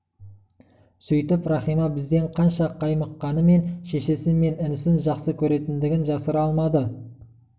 сөйтіп рахима бізден қанша қаймыққанымен шешесі мен інісін жақсы көретіндігін жасыра алмады